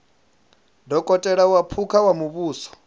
dokotela wa phukha wa muvhuso